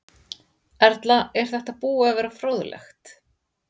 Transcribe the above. Erla: Er þetta búið að vera fróðlegt?